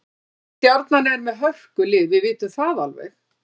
Stjarnan er með hörkulið, við vitum það alveg.